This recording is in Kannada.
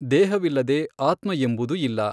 ದೇಹವಿಲ್ಲದೆ ಆತ್ಮಎಂಬುದು ಇಲ್ಲ.